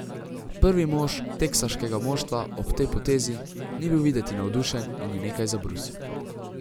Prvi mož teksaškega moštva ob tej potezi ni bil videti navdušen in je nekaj zabrusil.